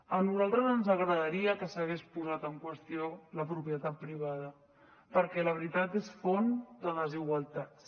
a nosaltres ens agradaria que s’hagués posat en qüestió la propietat privada perquè la veritat és font de desigualtats